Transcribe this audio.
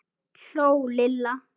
hló Lilla.